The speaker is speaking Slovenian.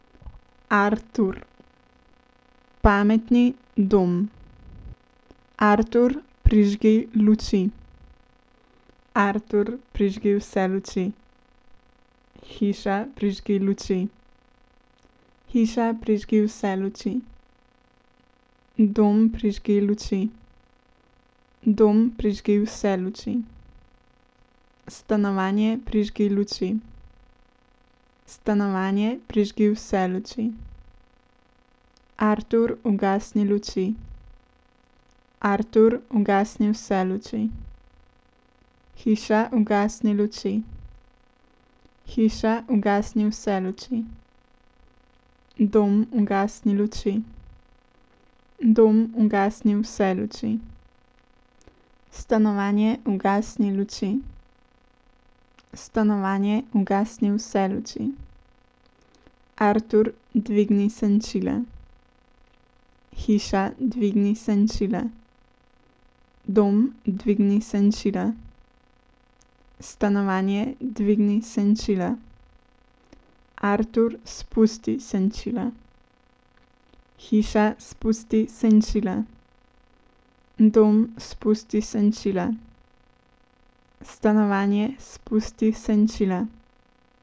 Artur. Pametni dom. Artur, prižgi luči. Artur, prižgi vse luči. Hiša, prižgi luči. Hiša, prižgi vse luči. Dom, prižgi luči. Dom, prižgi vse luči. Stanovanje, prižgi luči. Stanovanje, prižgi vse luči. Artur, ugasni luči. Artur, ugasni vse luči. Hiša, ugasni luči. Hiša, ugasni vse luči. Dom, ugasni luči. Dom, ugasni vse luči. Stanovanje, ugasni luči. Stanovanje, ugasni vse luči. Artur, dvigni senčila. Hiša, dvigni senčila. Dom, dvigni senčila. Stanovanje, dvigni senčila. Artur, spusti senčila. Hiša, spusti senčila. Dom, spusti senčila. Stanovanje, spusti senčila.